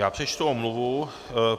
Já přečtu omluvu.